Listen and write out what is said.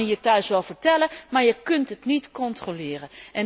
Dat kan hij je thuis wel vertellen, maar je kunt het niet controleren.